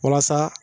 Walasa